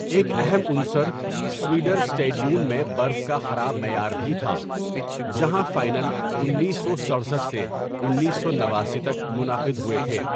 ایک اہم عنصر سؤڈرسٹیڈیون میں برف کا خراب معیار بھی تھا، جہاں فائنل انیس سو سٹرسٹھ سے انیس سو نواسی تک منعقد ہوئے تھے۔